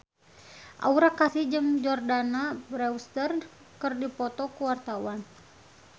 Aura Kasih jeung Jordana Brewster keur dipoto ku wartawan